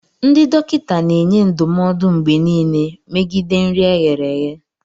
Ndị dọkịta na-enye ndụmọdụ mgbe niile megide nri e ghere eghe